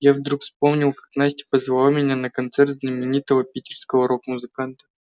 я вдруг вспомнил как настя позвала меня на концерт знаменитого питерского рок-музыканта